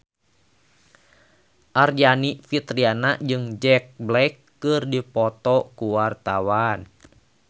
Aryani Fitriana jeung Jack Black keur dipoto ku wartawan